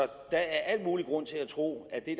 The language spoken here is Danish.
der er al mulig grund til at tro at det